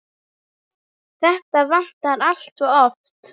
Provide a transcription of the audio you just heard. Þetta vantar allt of oft.